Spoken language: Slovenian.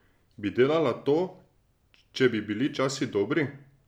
Bi delala to, če bi bili časi dobri?